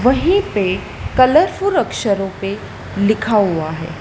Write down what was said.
वहीं पर कलरफुल अक्षरों पे लिखा हुआ है।